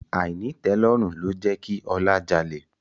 Àìnítẹ̀ẹ́lọ́rùn ló jẹ́ kí Ọlá jalè